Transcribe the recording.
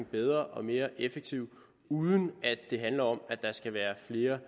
bedre og mere effektiv uden at det handler om der skal være flere